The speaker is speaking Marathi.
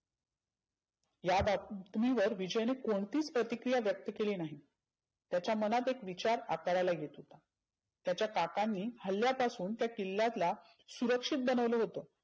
या बाब तुम्ही वर विजयने कोणतीच प्रतीक्रीया व्यक्त केली नाही. त्याच्या मनात एक विचार आकाराला येतो. त्याच्या काकांनी हल्ल्यापासून त्या किल्ल्यातल्या सुरक्षीत बनवलं होतं.